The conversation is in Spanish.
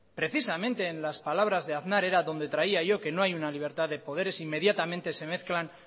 precisamente en las palabras de aznar era donde traía yo que no hay una libertad de poderes inmediatamente se mezclan